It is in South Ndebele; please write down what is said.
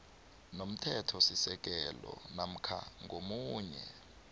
nomthethosisekelo namkha ngomunye